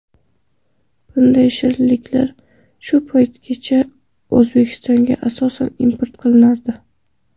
Bunday shirinliklar shu paytgacha O‘zbekistonga asosan import qilinardi.